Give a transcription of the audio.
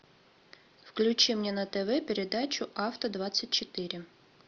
включи мне на тв передачу авто двадцать четыре